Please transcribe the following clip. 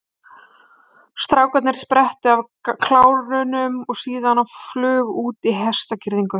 Strákarnir sprettu af klárunum og síðan á flug út í hestagirðingu.